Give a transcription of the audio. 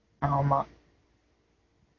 ஆமா